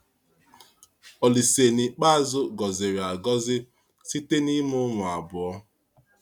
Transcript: Ȯlísè n’ikpeazụ gọziri agọzi site n’ịmụ ụmụ abụọ